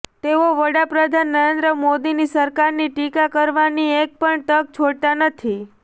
તેઓ વડા પ્રધાન નરેન્દ્ર મોદીની સરકારની ટીકા કરવાની એક પણ તક છોડતા નથી